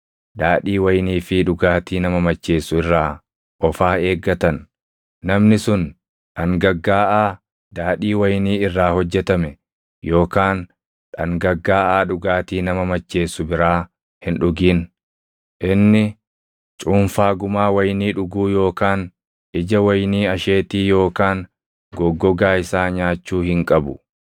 daadhii wayinii fi dhugaatii nama macheessu irraa of haa eeggatan; namni sun dhangaggaaʼaa daadhii wayinii irraa hojjetame yookaan dhangaggaaʼaa dhugaatii nama macheessuu biraa hin dhugin. Inni cuunfaa gumaa wayinii dhuguu yookaan ija wayinii asheetii yookaan goggogaa isaa nyaachuu hin qabu.